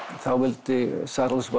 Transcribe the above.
þá vildi